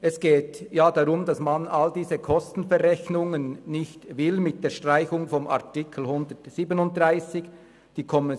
Es geht darum, dass man all diese Kostenverrechnungen mit der Streichung von Artikel 137 nicht will.